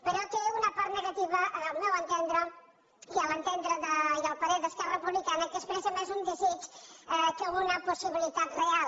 però té una part negativa al meu entendre i al parer d’es·querra republicana que expressa més un desig que una possibilitat real